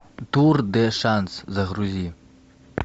тур де шанс загрузи